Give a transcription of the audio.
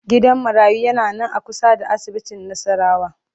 Gidan marayu yana nan a kusa da asibitin Nassarawa